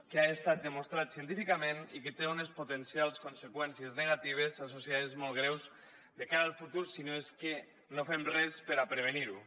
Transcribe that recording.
que ha estat demostrat científicament i que té unes potencials conseqüències negatives associades molt greus de cara al futur si no és que no fem res per a prevenir ho